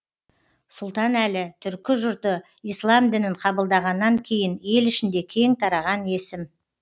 сұлтанәлі түркі жұрты ислам дінін қабылдағаннан кейін ел ішінде кең тараған есім